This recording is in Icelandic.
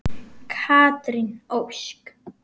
Katrín Ósk.